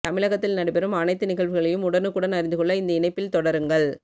தமிழகத்தில் நடைபெறும் அனைத்து நிகழ்வுகளையும் உடனுக்குடன் அறிந்து கொள்ள இந்த இணைப்பில் தொடருங்கள்